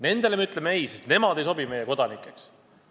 Nendelegi me ütleme "ei", ka nemad ei sobi meie kodanikeks.